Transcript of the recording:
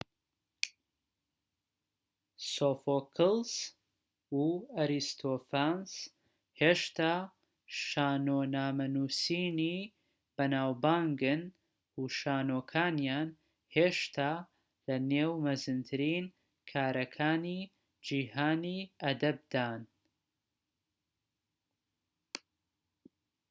سۆفۆکڵس و ئاریستۆفانس هێشتا شانۆنامەنووسی بەناو بانگن و شانۆکانیان هێشتا لە نێو مەزنترین کارەکانی جیھانی ئەدەبدان